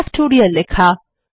factorial লেখা